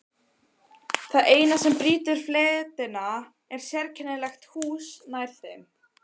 Það eina sem brýtur fletina er sérkennilegt hús nær þeim.